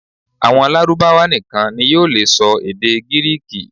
Àwọn Lárúbáwá nìkan ni yóò lè sọ èdè Gíríkì